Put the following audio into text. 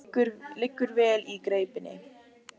Liggur vel í greipinni.